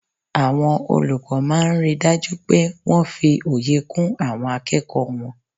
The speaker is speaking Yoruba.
Àwọn olùkọ́ máa n ri dájú pé wọ́n fi òye kún àwọn akẹ́kọ̀ọ́ wọn